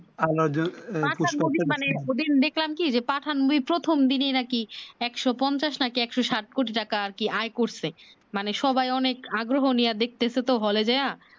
পাঠান movie মানে ঐ দিন দেখলাম কি পাঠান মুভি প্রথম দিনে না কি একশ পঞ্চাশ না কি একশ ষাট কোটি টাকা আয় করছে মানে সবাই অনেক আগ্রহ নিয়া দেখতেছে হলে যাইয়া